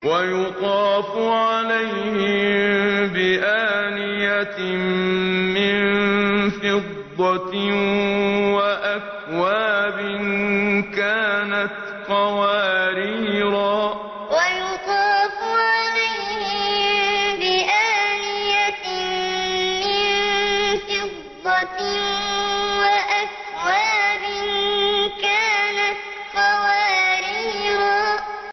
وَيُطَافُ عَلَيْهِم بِآنِيَةٍ مِّن فِضَّةٍ وَأَكْوَابٍ كَانَتْ قَوَارِيرَا وَيُطَافُ عَلَيْهِم بِآنِيَةٍ مِّن فِضَّةٍ وَأَكْوَابٍ كَانَتْ قَوَارِيرَا